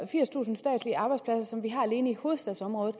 firstusind statslige arbejdspladser som vi har alene i hovedstadsområdet